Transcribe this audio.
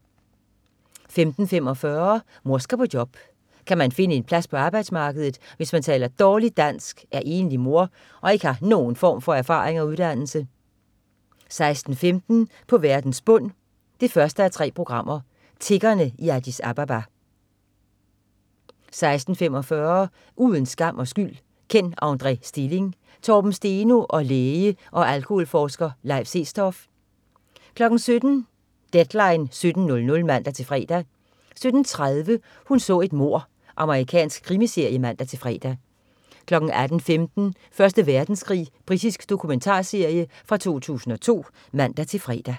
15.45 Mor skal på job. Kan man finde en plads på arbejdsmarkedet, hvis man taler dårligt dansk, er enlig mor og ikke har nogen form for erfaring og uddannelse? 16.15 På verdens bund 1:3. Tiggerne i Addis Ababa 16.45 Uden skam og skyld: Kenn André Stilling. Torben Steno og læge og alkoholforsker Leif Sestoft 17.00 Deadline 17.00 (man-fre) 17.30 Hun så et mord. Amerikansk krimiserie (man-fre) 18.15 Første Verdenskrig. Britisk dokumentarserie fra 2002 (man-fre)